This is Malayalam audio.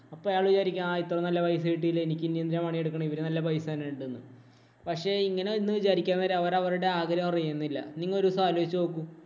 അപ്പൊ അയാള് വിചാരിക്കും. ആ ഇത്രോ നല്ല പൈസ കിട്ടിയില്ലേ. എനിക്കിനി എന്തിനാ പണിയെടുക്കണേ, ഇവര് നല്ല പൈസ തരുന്നുണ്ടെന്ന്. പക്ഷേ ഇങ്ങനെ ഒന്ന് വിചാരിക്കുന്നേരം അവര് അവരുടെ ആഗ്രഹം അറിയുന്നില്ല. നിങ്ങൾ ഒരു ദിവസം ആലോചിച്ചു നോക്കൂ.